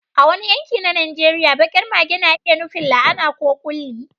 A wani yanki na Najeriya, baƙar mage na iya nufin la'ana ko ƙulli.